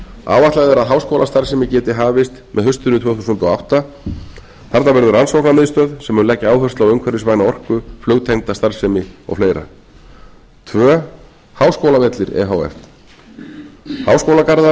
áætlað er að háskólastarfsemi geti hafist með haustinu tvö þúsund og átta þarna verður rannsóknarmiðstöð sem mun leggja áherslu á umhverfisvæna orku flugtengda starfsemi og fleiri önnur háskólavellir e h f